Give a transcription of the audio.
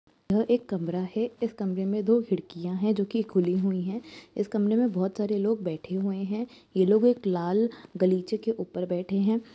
ये एक कमरा है। इस कमरे में दो खिड़कियाँ है जोकि खुली हुई है। इस कमरे में बोहोत सारे लोग बेठे हुए है। ये लोग एक लाल